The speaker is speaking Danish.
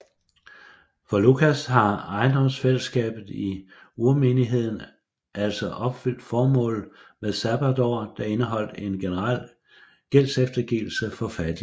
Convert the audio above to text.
For Lukas har ejendomsfællesskabet i urmenigheden altså opfyldt formålet med sabbatåret der indeholdt en generel gældseftergivelse for fattige